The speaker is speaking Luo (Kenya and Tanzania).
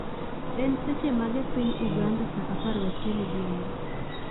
En seche mage piny ugannda sa apar gachiel odhiambo